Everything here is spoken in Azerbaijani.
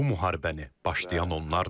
Bu müharibəni başlayan onlardır.